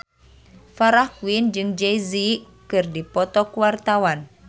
Farah Quinn jeung Jay Z keur dipoto ku wartawan